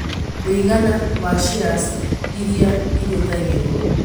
mũigana wa shares iria ihũthagĩrũo